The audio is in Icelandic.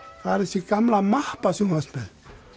það er þessi gamla mappa sem þú varst með